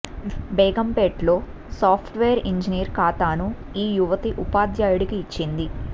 బేగంపేటలో software engineer ఖాతాను ఈ యువతి ఉపాధ్యాయుడికి ఇచ్చింది